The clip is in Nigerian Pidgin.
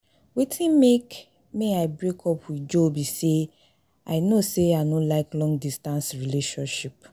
Wetin make may I break up with Joe be say I no say I no like long distance relationship